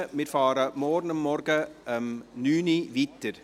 Wir fahren morgen um 9 Uhr weiter.